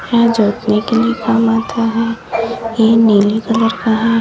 यह जोतने के लिए काम आता हैं ये नीली कलर का है।